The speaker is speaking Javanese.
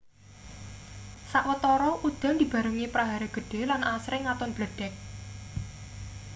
sawetara udan dibarengi prahara gedhe lan asring ngaton bledhek